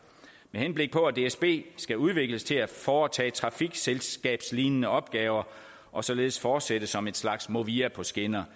med henblik på at dsb skal udvikles til at foretage trafikselskabslignende opgaver og således fortsætte som et slags movia på skinner